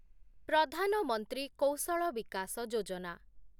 ପ୍ରଧାନ ମନ୍ତ୍ରୀ କୌଶଳ ବିକାସ ଯୋଜନା